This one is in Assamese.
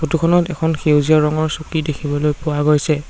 ফটো খনত এখন সেউজীয়া ৰঙৰ চকী দেখিবলৈ পোৱা গৈছে।